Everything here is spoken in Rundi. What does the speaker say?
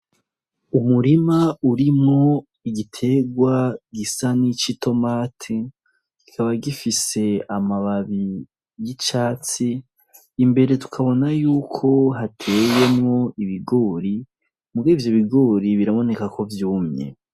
Umurima urimwo igiterwa gisa n'ic' itomati, kikaba gifise amababi y'icatsi, imbere tukabona yuko hateyemwo ibigori, mugabo ivyo bigori biraboneka ko vyumye.